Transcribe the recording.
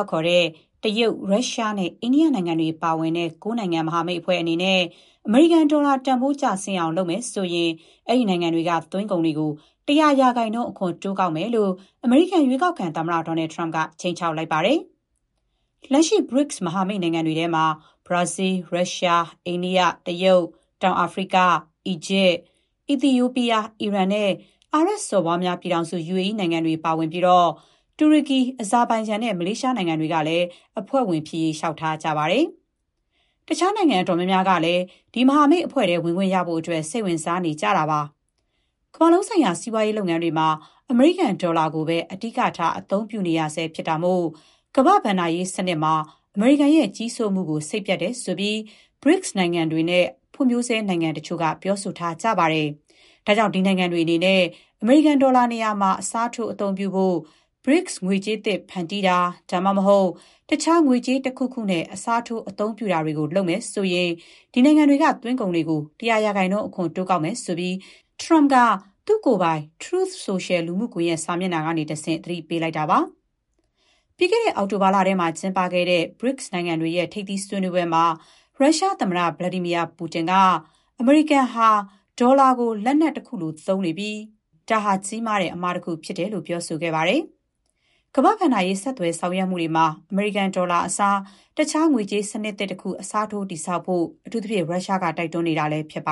က်ခေါ်တဲ့ တရုတ်၊ ရုရှားနဲ့ အိန္ဒိယနိုင်ငံတွေ ပါဝင်တဲ့ ၉ နိုင်ငံ မဟာမိတ်အဖွဲ့အနေနဲ့ အမေရိကန်ဒေါ်လာ တန်ဖိုး ကျဆင်းအောင် လုပ်မယ်ဆိုရင် အဲ့ဒီနိုင်ငံတွေက သွင်းကုန်တွေကို ၁၀၀ % အခွန်တိုးကောက်မယ်လို့ အမေရိကန် ရွေးကောက်ခံသမ္မတ ဒေါ်နယ်ထရမ့်က ခြိမ်းခြောက်လိုက်ပါတယ်။ လက်ရှိ BRICS မဟာမိတ်နိုင်ငံတွေထဲမှာ ဘရာဇီး၊ ရုရှား၊ အိန္ဒိယ၊ တရုတ်၊ တောင်အာဖရိက၊ အီဂျစ်၊ အီသီယိုးပီးယား၊ အီရန် နဲ့ အာရပ်စော်ဘွားများ ပြည်ထောင်စု UAE နိုင်ငံတွေ ပါဝင်ပြီး တူရကီ၊ အဇာဘိုင်ဂျန် နဲ့ မလေးရှား နိုင်ငံတွေကလည်း အဖွဲ့ဝင်ဖြစ်ရေး လျှောက်ထားတာ ရှိပါတယ်။ တခြား နိုင်ငံ အတော်များများကလည်း ဒီမဟာမိတ်အဖွဲ့ထဲ ဝင်ခွင့်ရဖို့ စိတ်ဝင်စားနေကြတာပါ။ ကမ္ဘာလုံးဆိုင်ရာ စီးပွားရေး လုပ်ငန်းတွေမှာ အမေရိကန်ဒေါ်လာကိုပဲ အဓိကထား အသုံးပြုနေရဆဲ ဖြစ်တာမို့ ကမ္ဘာ့ ဘဏ္ဍာရေးစနစ်မှာ အမေရိကန်ရဲ့ ကြီးစိုးမှုကို စိတ်ပျက်တယ်ဆိုပြီး BRICS နိုင်ငံတွေနဲ့ ဖွံ့ဖြိုးဆဲနိုင်ငံ တချို့က ပြောဆိုထားကြတာပါ။ ဒါကြောင့် ဒီနိုင်ငံတွေ အနေနဲ့ အမေရိကန် ဒေါ်လာနေရာမှာ အစားထိုး အသုံးပြုဖို့ BRICS ငွေကြေးသစ် ဖန်တီးတာ၊ ဒါမှမဟုတ် တခြား ငွေကြေးတခုခုနဲ့ အစားထိုး အသုံးပြုတာတွေ လုပ်မယ်ဆိုရင် ဒီနိုင်ငံတွေက သွင်းကုန်တွေကို ၁၀၀% အခွန် တိုးကောက်မယ်လို့ ထရမ့်က သူ့ကိုယ်ပိုင် Truth Social လူမှုကွန်ရက် စာမျက်နှာကနေတဆင့် သတိပေးလိုက်ပါတယ်။ ပြီးခဲ့တဲ့ အောက်တိုဘာလထဲ ကျင်းပခဲ့တဲ့ BRICS နိုင်ငံတွေရဲ့ ထိပ်သီးဆွေးနွေးပွဲမှာ ရုရှားသမ္မတ Vladimir Putin က − အမေရိကန်ဟာ ဒေါ်လာကို လက်နက်တခုလို သုံးနေပြီး ဒါဟာ ကြီးမားတဲ့ အမှားတခု ဖြစ်တယ်လို့ ပြောဆိုခဲ့ပါတယ်။ ကမ္ဘာ့ဘဏ္ဍာရေး ဆက်သွယ် ဆောင်ရွက်မှုတွေမှာ အမေရိကန် ဒေါ်လာအစား တခြား ငွေကြေးစနစ်သစ် တခု အစားထိုး တည်ဆောက်ဖို့ အထူးသဖြင့် ရုရှားက တိုက်တွန်းနေတာလည်း ဖြစ်ပ